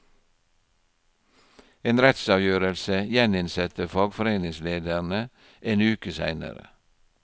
En rettsavgjørelse gjeninsetter fagforeningslederne en uke senere.